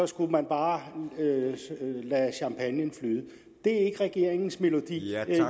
skulle man bare lade champagnen flyde det er ikke regeringens melodi